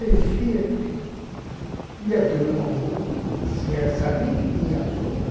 E a turma, ôh, se sabia que tinha açúcar?